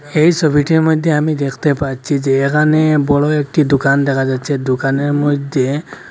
এই ছবিটির মইধ্যে আমি দেখতে পাচ্ছি যে এখানে বড় একটি দোকান দেখা যাচ্ছে দোকানের মইধ্যে--